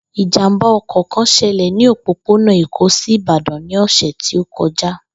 Ìjàmbá o̩kò̩ kan s̩e̩lè̩ ní òpópónà Èkó sí Ìbàdàn ní ò̩sè̩ tí ó ko̩já